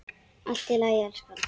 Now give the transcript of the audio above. Allt í lagi, elskan.